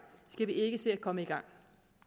skal vi ikke se at komme i gang